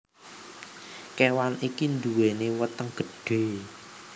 Kewan iki nduweni weteng gedhe